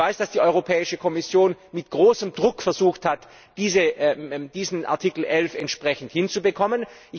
Ich weiß, dass die Europäische Kommission mit großem Druck versucht hat, diesen Artikel11 entsprechend hinzubekommen.